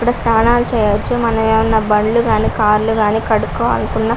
ఇక్కడ స్నానాలు చేయొచ్చు మనము బండ్లు కానీ కార్లు కానీ ఏమైనా కడుక్కోవాలి అనుకున --